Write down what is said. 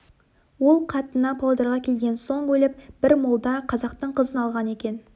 ол қатыны павлодарға келген соң өліп бір молда қазақтың қызын алған екен